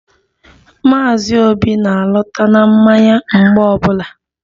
Maazi obi na-alọta na mmanya mgbe ọbụla